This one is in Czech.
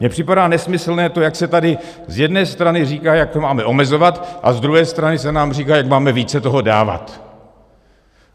Mně připadá nesmyslné to, jak se tady z jedné strany říká, jak to máme omezovat, a z druhé strany se nám říká, jak máme více toho dávat.